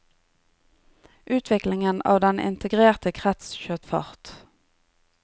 Utviklingen av den integrerte krets skjøt fart.